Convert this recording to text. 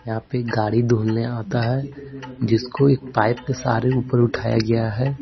यहां पे गाड़ी धूलने आता है जिसको एक पाइप के सहारे ऊपर उठाया गया है।